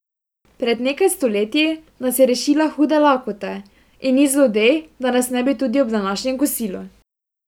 Pred nekaj stoletji nas je rešila hude lakote in ni zlodej, da nas ne bi tudi ob današnjem kosilu!